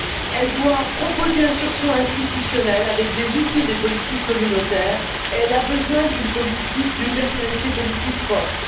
Elle doit proposer un sursaut institutionnel avec des outils et des politiques communautaires, et elle a besoin d'une personnalité politique forte.